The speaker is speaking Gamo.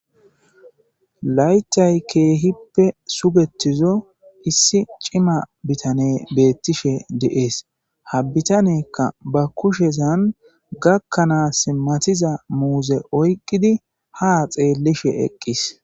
laytay keehippe sugetizo issi cima bitane beettishe de7ees ha bitanekka ba kushezan gakkanaas matiza muuze oyqqidi ha xeellishe eqqis